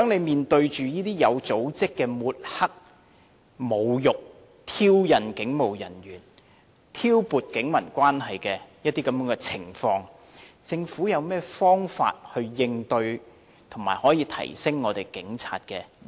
面對這些有組織地抹黑、侮辱和挑釁警務人員，以及挑撥警民關係的情況，政府有何方法應對，並且提升警察的形象？